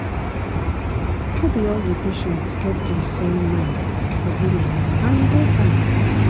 no be all the patient get the same mind for healing and e dey fine.